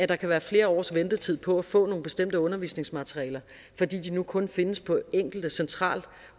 der kan være flere års ventetid på at få nogle bestemte undervisningsmaterialer fordi de nu kun findes på enkelte centralt